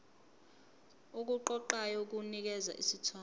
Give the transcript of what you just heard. okuqoqayo kunikeza isithombe